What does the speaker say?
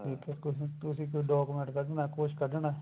ਠੀਕ ਐ ਤੁਸੀਂ ਕੋਈ document ਕੱਢਨਾ ਕੁੱਛ ਕੱਢਨਾ